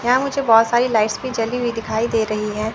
यहा मुझे बहोत सारी लाइट्स भी जली हुई दिखाई दे रहीं हैं।